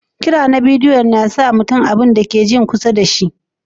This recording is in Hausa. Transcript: Kira na bidiyo na sa ka ji kusa da mutum da ka ke hira da shi.